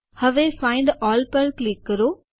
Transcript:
હવે find all પર click કરો